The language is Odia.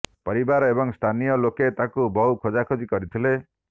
ପରିବାର ଏବଂ ସ୍ଥାନୀୟ ଲୋକେ ତାଙ୍କୁ ବହୁ ଖୋଜାଖୋଜି କରିଥିଲେ